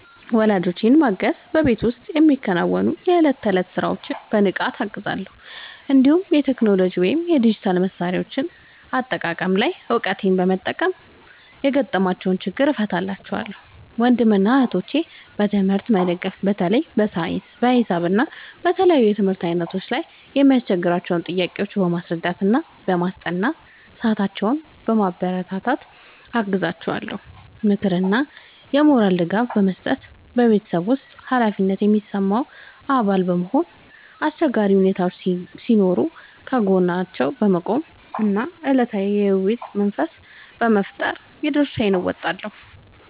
ወላጆቼን ማገዝ በቤት ውስጥ የሚከናወኑ የዕለት ተዕለት ሥራዎችን በንቃት እገዛለሁ፤ እንዲሁም የቴክኖሎጂ ወይም የዲጂታል መሣሪያዎች አጠቃቀም ላይ እውቀቴን በመጠቀም የገጠሟቸውን ችግሮች እፈታላቸዋለሁ። ወንድምና እህቶቼን በትምህርት መደገፍ በተለይ በሳይንስ፣ በሂሳብ እና በተለያዩ የትምህርት ዓይነቶች ላይ የሚያስቸግሯቸውን ጥያቄዎች በማስረዳትና በጥናት ሰዓታቸው በማበረታታት አግዛቸዋለሁ። ምክርና የሞራል ድጋፍ መስጠት በቤተሰብ ውስጥ ኃላፊነት የሚሰማው አባል በመሆን፣ አስቸጋሪ ሁኔታዎች ሲኖሩ ከጎናቸው በመቆም እና አዎንታዊ የውይይት መንፈስ በመፍጠር የድርሻዬን እወጣለሁ።